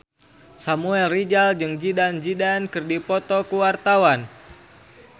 Samuel Rizal jeung Zidane Zidane keur dipoto ku wartawan